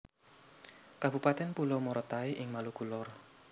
Kabupatèn Pulau Morotai ing Maluku Lor